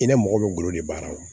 I ni mɔgɔ bɛ golo de baara ma